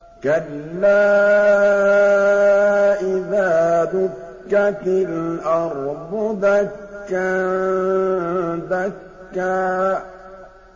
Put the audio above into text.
كَلَّا إِذَا دُكَّتِ الْأَرْضُ دَكًّا دَكًّا